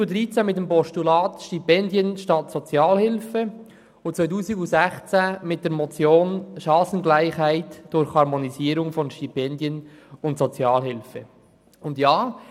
Das war 2013 mit dem Postulat «Stipendien statt Sozialhilfe» und 2016 mit der Motion «Chancengleichheit durch Harmonisierung von Stipendien und Sozialhilfe» der Fall.